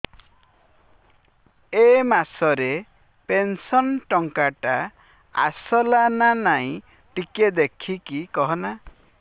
ଏ ମାସ ରେ ପେନସନ ଟଙ୍କା ଟା ଆସଲା ନା ନାଇଁ ଟିକେ ଦେଖିକି କହନା